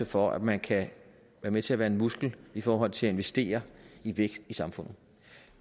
for at man kan være med til at være en muskel i forhold til at investere i vækst i samfundet